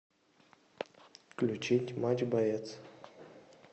включить матч боец